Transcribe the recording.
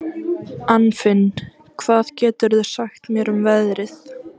Anfinn, hvað geturðu sagt mér um veðrið?